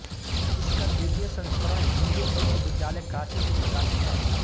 इसका द्वितीय संस्करण हिदू विश्वविद्यलाय काशी से प्रकाशित है